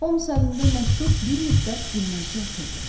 Holms əlində məktub bir müddət dinməzcə oturdu.